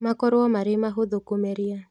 Makorwo marĩ mahũthũ kũmeria